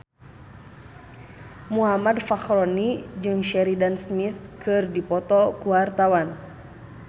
Muhammad Fachroni jeung Sheridan Smith keur dipoto ku wartawan